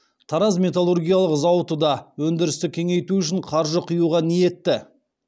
тараз металлургиялық зауыты да өндірісті кеңейту үшін қаржы құюға ниетті